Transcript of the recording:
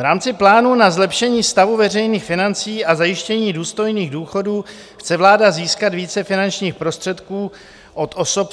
V rámci plánu na zlepšení stavu veřejných financí a zajištění důstojných důchodů chce vláda získat více finančních prostředků od osob